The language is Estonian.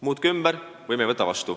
Muutke ümber, või me ei võta üle.